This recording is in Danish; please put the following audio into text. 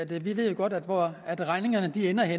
vi ved jo godt hvor regningerne ender